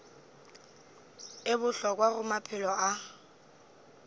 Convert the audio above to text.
e bohlokwa go maphelo a